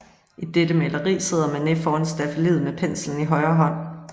I dette maleri sidder Manet foran staffeliet med penslen i højre hånd